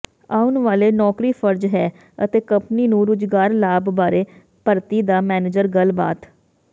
ਆਉਣ ਵਾਲੇ ਨੌਕਰੀ ਫਰਜ਼ ਹੈ ਅਤੇ ਕੰਪਨੀ ਨੂੰ ਰੁਜ਼ਗਾਰ ਲਾਭ ਬਾਰੇ ਭਰਤੀ ਦਾ ਮੈਨੇਜਰ ਗੱਲਬਾਤ